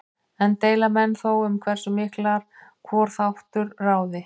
Enn deila menn þó um hversu miklu hvor þáttur ráði.